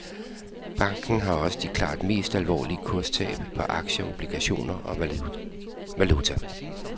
Banken har også de klart mest alvorlige kurstab på aktier, obligationer og valuta.